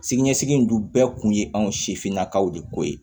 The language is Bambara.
Siniɲɛsigi in dun bɛɛ kun ye anw sifinnakaw de ko ye